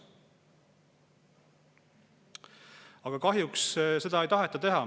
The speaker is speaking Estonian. Aga kahjuks seda ei taheta teha.